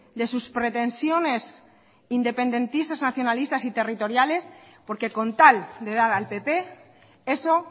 de sus pretensiones independentistas nacionalistas y territoriales porque con tal de dar al pp eso